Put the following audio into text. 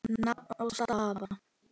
Nafn og staða?